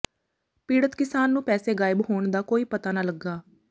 ਪੀਡ਼ਤ ਕਿਸਾਨ ਨੂੰ ਪੈਸੇ ਗਾਇਬ ਹੋਣ ਦਾ ਕੋਈ ਪਤਾ ਨਾ ਲੱਗਾ